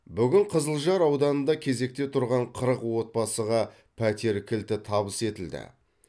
бүгін қызылжар ауданында кезекте тұрған қырық отбасыға пәтер кілті табыс етілді